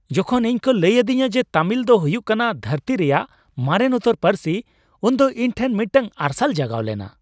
ᱡᱚᱠᱷᱚᱱ ᱤᱧ ᱠᱚ ᱞᱟᱹᱭ ᱟᱹᱫᱤᱧᱟ ᱡᱮ ᱛᱟᱢᱤᱞ ᱫᱚ ᱦᱩᱭᱩᱜ ᱠᱟᱱᱟ ᱫᱷᱟᱹᱨᱛᱤ ᱨᱮᱭᱟᱜ ᱢᱟᱨᱮᱱ ᱩᱛᱟᱹᱨ ᱯᱟᱹᱨᱥᱤ ᱩᱱ ᱫᱚ ᱤᱧ ᱴᱷᱮᱱ ᱢᱤᱫᱴᱟᱝ ᱟᱨᱥᱟᱞ ᱡᱟᱜᱟᱣ ᱞᱮᱱᱟ ᱾